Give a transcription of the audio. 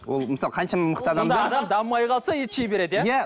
ол мысалы қаншама мықты адамдар дамымай қалса ет жей береді иә иә